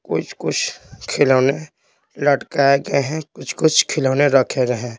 कुछ-कुछ खिलौने लटकाए गए हैं कुछ-कुछ खिलौने रखे गये हैं।